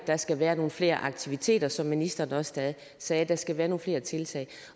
der skal være nogle flere aktiviteter eller som ministeren også sagde der skal være nogle flere tiltag